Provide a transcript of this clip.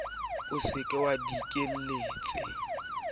ne ke se ke dikelletse